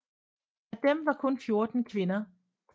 Af dem var kun 14 kvinder